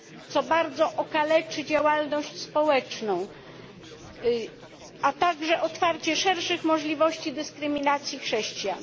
co bardzo okaleczy działalność społeczną, a także otwarcie szerszych możliwości dyskryminacji chrześcijan.